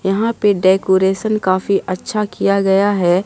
यहां पे डेकोरेशन काफी अच्छा किया गया है।